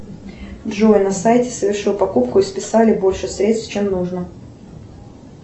джой на сайте совершил покупку и списали больше средств чем нужно